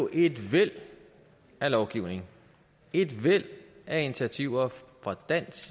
et væld af lovgivning og et væld af initiativer fra dansk